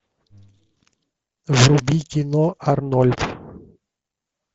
вруби кино арнольд